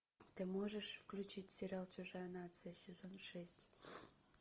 ты можешь включить сериал чужая нация сезон шесть